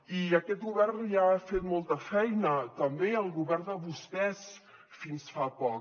i aquest govern ja ha fet molta feina també el govern de vostès fins fa poc